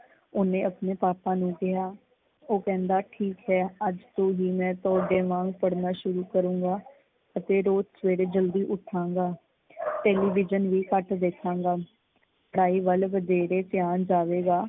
ਉਹਨੇ ਆਪਣੇ ਪਾਪਾ ਨੂੰ ਕਿਹਾ । ਉਹ ਕਹਿੰਦਾ ਠੀਕ ਏ ਅੱਜ ਤੋਂ ਹੀ ਮੈਂ ਤੁਹਾਡੇ ਵਾਂਗ ਪੜ੍ਹਨਾ ਸ਼ੁਰੂ ਕਰੂਗਾਂ ਅਤੇ ਰੋਜ਼ ਸਵੇਰੇ ਜਲਦੀ ਉਠਾਂਗਾ। ਟੈਲੀਵਿਜਨ ਵੀ ਘੱਟ ਦੇਖਾਂਗਾ, ਪੜ੍ਹਾਈ ਵੱਲ ਵਧੇਰੇ ਧਿਆਨ ਜਾਵੇਗਾ।